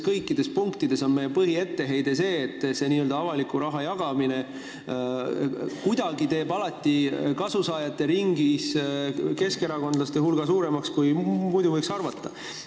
Kõikides punktides on meie põhietteheide see, et see n-ö avaliku raha jagamine teeb kuidagi alati keskerakondlaste hulga kasusaajate ringis suuremaks, kui muidu oleks võinud arvata.